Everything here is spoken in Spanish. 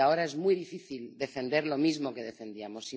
Y ahora es muy difícil defender lo mismo que defendíamos.